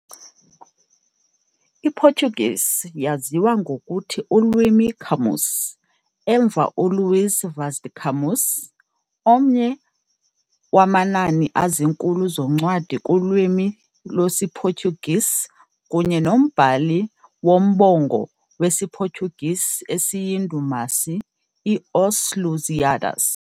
Portuguese waziwa ngokuthi "ulwimi Camões", emva uLuís Vaz de Camões, omnye amanani ezinkulu zoncwadi kulwimi Portuguese kunye nombhali umbongo Portuguese eyindumasi, "Os Lusíadas".